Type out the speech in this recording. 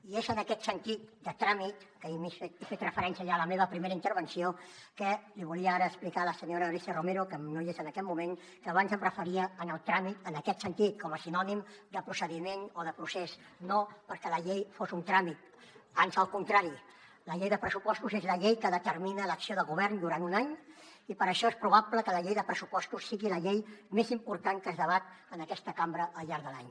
i és en aquest sentit de tràmit que n’he fet referència ja en la meva primera intervenció que li volia ara explicar a la senyora alícia romero que no hi és en aquest moment que abans em referia en el tràmit en aquest sentit com a sinònim de procediment o de procés no perquè la llei fos un tràmit ans al contrari la llei de pressupostos és la llei que determina l’acció de govern durant un any i per això és probable que la llei de pressupostos sigui la llei més important que es debat en aquesta cambra al llarg de l’any